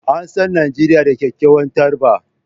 An san Najeriya da kyakkyawar tarba